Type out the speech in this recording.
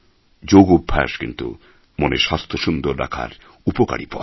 যোগ অভ্যাস কিন্তু মনের স্বাস্থ্য সুন্দর রাখার উপকারী পথ